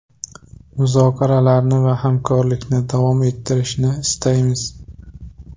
Muzokaralarni va hamkorlikni davom ettirishni istaymiz.